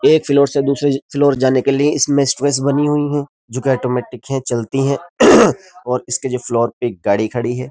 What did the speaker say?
एक फ्लोर से दूसरे फ्लोर जाने के लिए इसमें स्टैर्स बनी हुई हैं जोकि आटोमेटिक है चलती हैं और इसके जो फ्लोर पे एक गाड़ी खड़ी है।